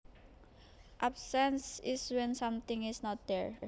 Absence is when something is not there